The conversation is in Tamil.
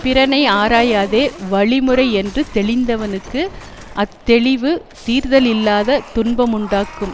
பிறனை ஆராயாதே வழிமுறையென்று தெளிந்தவனுக்கு அத்தெளிவு தீர்தலில்லாத துன்பமுண்டாக்கும்